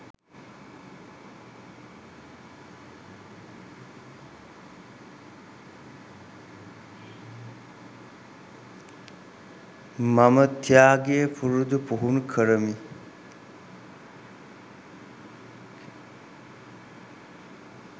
මම ත්‍යාගය පුරුදු පුහුණු කරමි